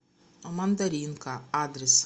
мандаринка адрес